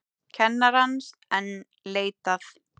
Kennarans enn leitað